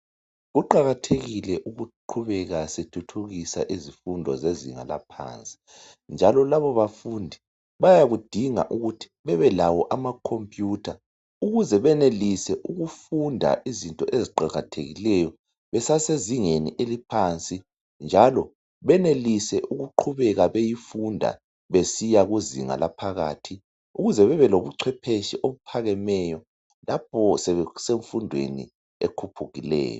Kuqakathekile ukuqhubeka sithuthukisa izikolo zethu zebanga laphansi njalo laba bafundi bayakudinga ukuthi bebelawo amakhompiyutha ukuze benelise ukufunda izinto eziqakathekileyo besasezingeni eliphansi njalo benelise beqhubeka beyifunda besiya kuzinga laphakathi ukuze bebelobuchwephetshe obuphakemeyo lapho sebesemfundweni ekhuphukileyo.